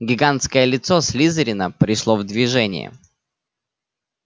гигантское лицо слизерина пришло в движение